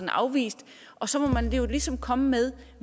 afvist og så må man ligesom komme med